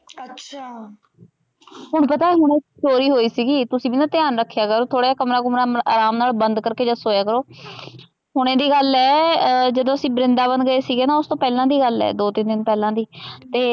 ਹੁਣ ਪਤਾ ਇਕ ਚੋਰੀ ਹੋਈ ਸੀਗੀ ਤੁਸੀਂ ਵੀ ਨਾ ਧਿਆਨ ਰਖਿਆ ਕਰੋ ਥੋੜਾ ਜਾ ਕਮਰਾ ਕੁਮਰ ਆਰਾਮ ਨਾਲ ਬੰਦ ਕਰਕੇ ਸੋਇਆ ਕਰੋ ਹੁਣੇ ਦੀ ਗਲ ਆ ਜਦੋ ਅਸੀਂ ਵਰਿੰਦਾਬਨ ਗਏ ਸੀਗੇ ਓਸਤੋ ਪਹਿਲਾਂ ਦੀ ਗੱਲ ਹੈ ਦੋ ਤਿਨ ਦਿਨ ਪਹਿਲਾਂ ਦੀ ਤੇ।